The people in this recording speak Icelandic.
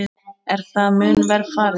Er það mun verr farið.